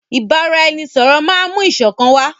Ìbáraẹnisọ̀rọ̀ máà mú ìṣọ̀kan wá.